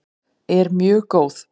er mjög góð.